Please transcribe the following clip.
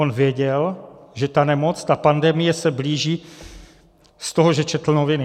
On věděl, že ta nemoc, ta pandemie se blíží, z toho, že četl noviny.